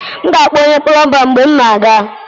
M ga-akpọ onye plọmba mgbe m na-aga